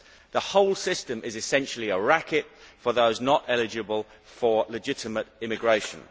The whole system is essentially a racket for those not eligible for legitimate immigration.